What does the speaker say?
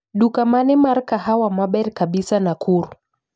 Duka mane mar kahawa maber kabisa Nakuru